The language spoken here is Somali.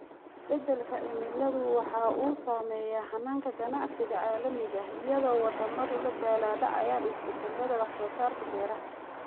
Isbeddelka cimiladu waxa uu saameeyaa hannaanka ganacsiga caalamiga ah iyadoo waddamadu la daalaa dhacayaan isbeddellada wax soo saarka beeraha.